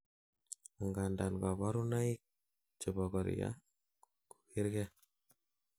angandan kaborunoik chebokoria kokergei